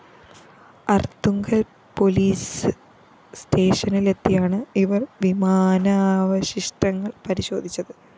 Arthunkal‍ police സ്റ്റേഷനിലെത്തിയാണ് ഇവര്‍ വിമാനാവശിഷ്ടങ്ങള്‍ പരിശോധിച്ചത്